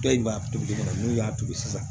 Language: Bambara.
Dɔw b'a tobi fana n'u y'a turu sisan